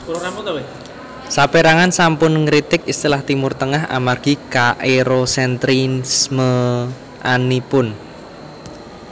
Sapérangan sampun ngritik istilah Timur Tengah amargi kaErosentrismeanipun